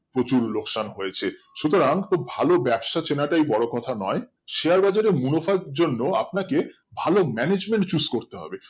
প্রচুর লোকসান হয়েসে সুতরাং খুব ভালো ব্যবসা চেনাটাই বড়ো কথা নয় Share বাজার এ মুনাফার জন্য আপনাকে ভালো management Fixed করতে হবে